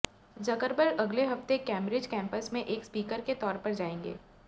Zuckerberg अगले हफ्ते Cambridge campus में एक स्पीकर के तौर पर जाएंगे